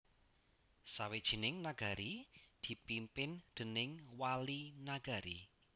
Sawijining Nagari dipimpin déning Wali Nagari